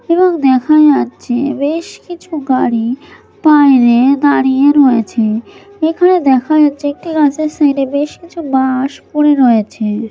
এবং দেখা যাচ্ছে বেশ কিছু গাড়ি বাইরে দাঁড়িয়ে রয়েছে এখানে দেখা যাচ্ছে একটি গাছের সাইডে বেশ কিছু বাঁশ পরে রয়েছে।